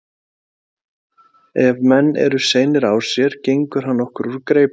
Ef menn eru seinir á sér gengur hann okkur úr greipum.